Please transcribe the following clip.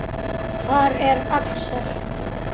Hver er Axel?